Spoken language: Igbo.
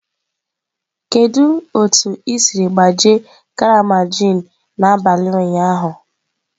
Kedu otu i siri gbajie karama gin n'abalị ụnyaahụ?